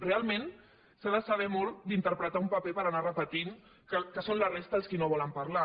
realment se n’ha de saber molt d’interpretar un paper per anar repetint que són la resta els qui no volen parlar